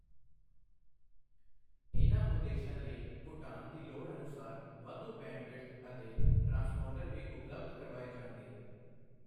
ਇਨ੍ਹਾਂ ਉਦੇਸ਼ਾਂ ਲਈ ਭੂਟਾਨ ਦੀ ਲੋੜ ਅਨੁਸਾਰ ਵਾਧੂ ਬੈਂਡਵਿਡਥ ਅਤੇ ਟ੍ਰਾਂਸਪੌਂਡਰ ਵੀ ਉਪਲਬਧ ਕਰਵਾਏ ਜਾਣਗੇ।